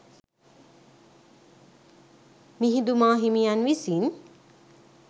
මිහිඳු මාහිමියන් විසින්